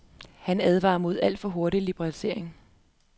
Han advarer mod alt for hurtig liberalisering.